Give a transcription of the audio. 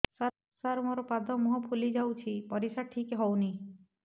ସାର ମୋରୋ ପାଦ ମୁହଁ ଫୁଲିଯାଉଛି ପରିଶ୍ରା ଠିକ ସେ ହଉନି